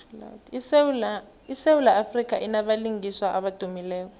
isewula afrika inabalingiswa abadumileko